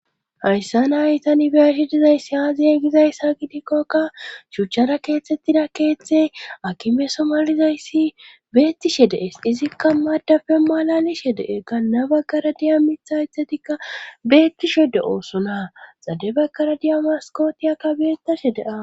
Hayssa na ytani biyashi dizayssi aaziye gizayssa gidikkokka shuchchara keethtettida keeththe akime somalizayssi beettishe dees izikka madafe malalishe de7e ga na baggara diya mithaithetikka beettishe de oosonaa xade baggara diyamaskotiyakka beettashedea.